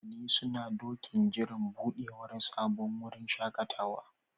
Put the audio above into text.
Iyalai suna ɗokin jiran buɗewar sabon wurin shaƙatawa.